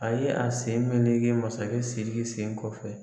A ye a sen menege masakɛ Siriki sen kɔfɛ.